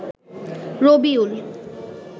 Rabiul